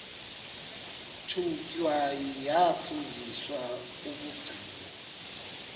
thunywa yafundiswa ukugcina